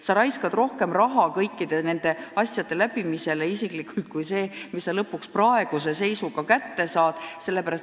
Sa raiskad kõikide nende nõuete täitmisele rohkem raha, kui lõpuks praeguse seisuga juurde saad.